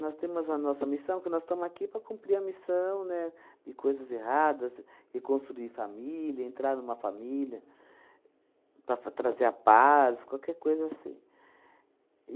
Nós temos a nossa missão, que nós estamos aqui para cumprir a missão, né, de coisas erradas, reconstruir família, entrar numa família, para fa trazer a paz, qualquer coisa assim.